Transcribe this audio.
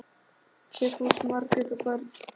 Sigfús, Margrét og börn.